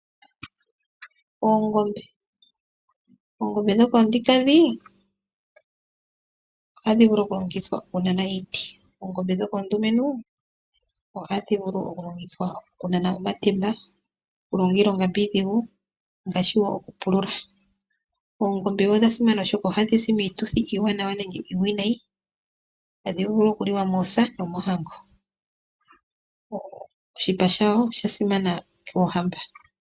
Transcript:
Oongombe dhoka oonkadhi ohadhi vulu okulongithwa okunana iiti. Oongombe dhoka oondumentu ohadhi vulu okulongithwa okunana omatemba, okulonga iilonga mbyoka iidhigu ngaashi wo okupulula. Oongombe odha simana oshoka ohadhi si miituthi iiwanawa nenge iiwinayi. Ohadhi vulu okuliwa moosa nomoohango. Oshipa shadho osha simana kaakwaniilwa.